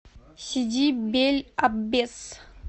сиди бель аббес